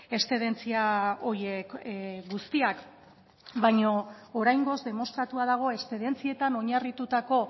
eszedentzia horiek guztiak baino oraingoz demostratua dago eszedentzietan oinarritutako